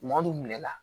Maa don minɛ la